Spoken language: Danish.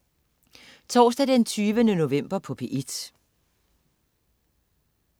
Torsdag den 20. november - P1: